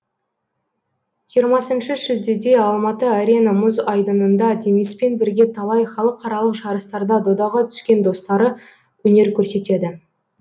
жиырмасыншы шілдеде алматы арена мұз айдынында дениспен бірге талай халықаралық жарыстарда додаға түскен достары өнер көрсетеді